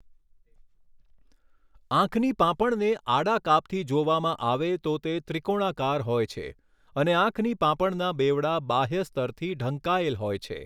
આંખની પાંપણને આડા કાપથી જોવામાં આવે તો તે ત્રિકોણાકાર હોય છે અને આંખની પાંપણના બેવડા બાહ્ય સ્તરથી ઢંકાયેલ હોય છે.